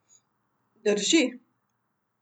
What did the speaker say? Drži.